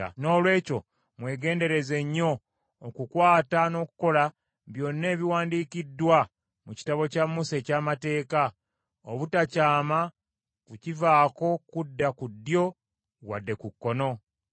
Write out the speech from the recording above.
“Noolwekyo mwegendereze nnyo okukwata n’okukola byonna ebiwandiikiddwa mu kitabo kya Musa eky’amateeka, obutakyama kukivaako kudda ku ddyo wadde ku kkono.